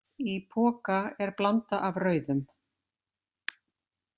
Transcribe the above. Í poka er blanda af rauðum.